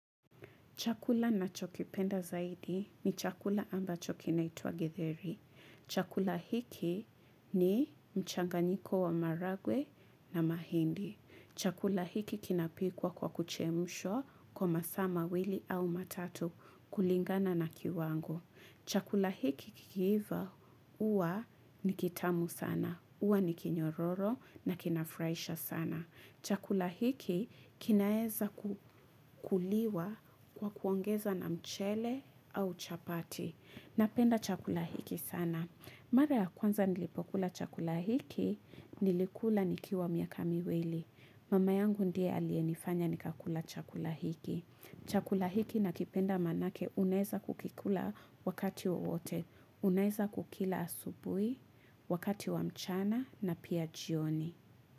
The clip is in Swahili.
Chakula ninachokipenda zaidi ni chakula ambacho kinaitwa githeri. Chakula hiki ni mchanganyiko wa maharagwe na mahindi. Chakula hiki kinapikwa kwa kuchemshwa kwa masaa mawili au matatu kulingana na kiwango. Chakula hiki kikiiva huwa ni kitamu sana. Huwa ni kinyororo na kinafurahisha sana chakula hiki kinaeza kukuliwa kwa kuongeza na mchele au chapati. Napenda chakula hiki sana. Mara ya kwanza nilipokula chakula hiki, nilikula nikiwa miaka miwili. Mama yangu ndiye aliyenifanya nikakula chakula hiki. Chakula hiki nakipenda maanake unaeza kukikula wakati wowote. Unaeza kukila asubuhi, wakati wa mchana na pia jioni.